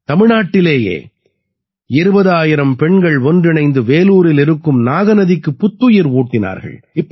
தமிழ்நாட்டிலேயே 20000 பெண்கள் ஒன்றிணைந்து வேலூரில் இருக்கும் நாக நதிக்கு புத்துயிர் ஊட்டினார்கள்